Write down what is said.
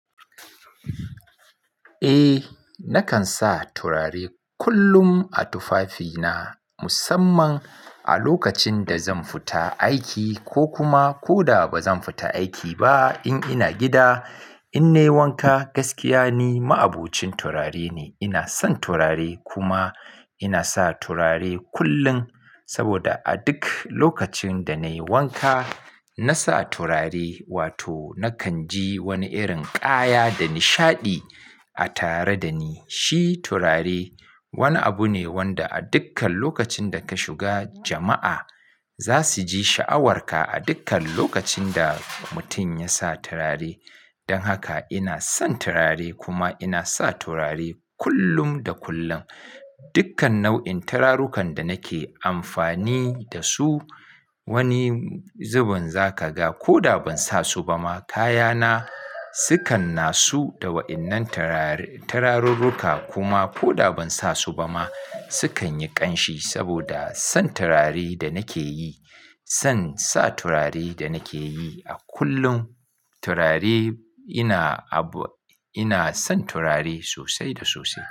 Eh, nakan sa turare kullum a tufafina musamman a lokacin da zan fita aiki ko kuma ko da ba zan fita aiki ba in ina gida. In nai wanka gaskiya ni ma'abocin turare ne. Ina son turare kuma ina sa turare kullun saboda a duk lokacin da nayi wanka nasa turare wato nakan ji wani irin kaya da nishaɗi a tare da ni. Shi turare wani abu ne wanda a dukkan lokacin da ka shiga jama'a zasuji sha'awarka a dukkan lokacin da mutum yasa turare. Dan haka ina son turare kuma ina sa turare kullum da kullum. Dukkan nau'in turarukan da nake amfani dasu wani zubin zakaga. Koda ban sa su ba ma kaya na sukan nasu da wa'innan turare turarurruka kuma koda ban sa su ba ma sukan yi ƙanshi saboda san turare da nake yi. Son sa turare da nake yi a kullum turare ina abu ina son turare sosai da sosai.